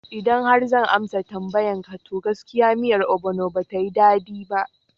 Idan har zan amsa tambayan ka, to gaskiya miyar obono batayi daɗi ba